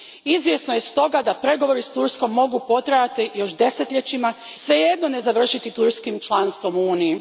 Izvjesno je stoga da pregovori s Turskom mogu potrajati još desetljećima i svejedno ne završiti turskim članstvom u Uniji.